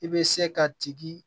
I bɛ se ka tigi